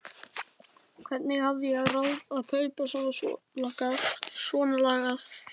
Hvernig hafði ég ráð á að kaupa svonalagað?